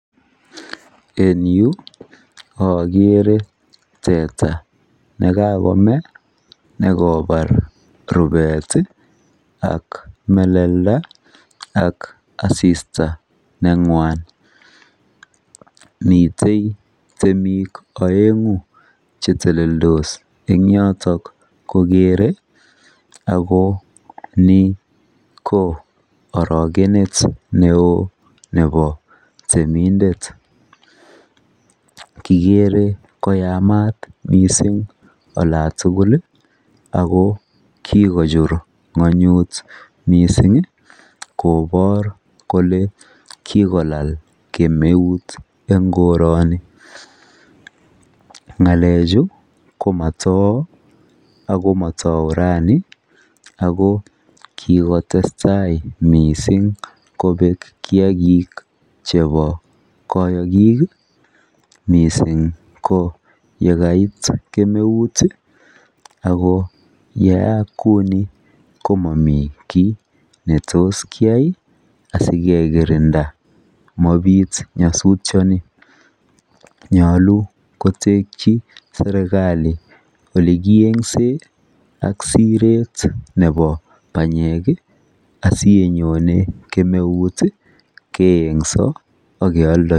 En yuu akeree tetaa nekakomee nekoparr rubet Ii ak meleldaa ak asista nengwan mitee temik oenguu cheteleldos I ng yotok kokeree nii ko arokenet neoo neboo temindet kikeree koyamat mising olatukul Ii akoo kikochurr ngonyut mising koporr kolee kikolal kemeuut eng koranii ngalechuu komatouu raa akoo kikotestai mising kopek kiyakik cheboi kayokik mising Koo yekait kemeuut